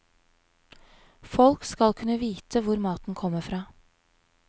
Folk skal kunne vite hvor maten kommer fra.